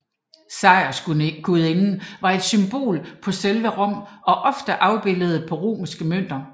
Sejrsgudinden var et symbol på selve Rom og ofte afbildet på romerske mønter